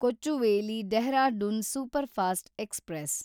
Kochuveli Dehradun superfast express